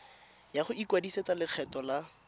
ya go ikwadisetsa lekgetho la